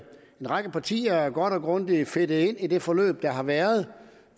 række partier er godt og grundigt fedtet ind i det forløb der har været